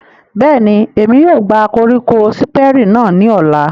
Bẹ́ẹ̀ni, Emi yóò gba koriko Siperi náa ni ọla.